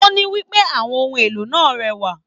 O ní wípé àwọn ohùn èlò náà rẹwà.